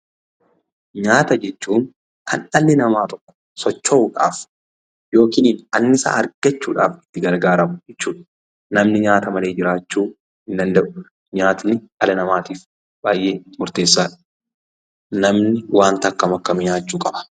Nyaata jechuun kan dhalli namaa tokko socho'uudhaaf yookin annisaa argachuudhaf itti gargaaramu jechuudha. Namni nyaata malee jiraachuu hin danda'u. Nyaatni dhala namaatiif baay'ee murteessaadha. Namni waanta akkam akkamii nyaachuu qaba?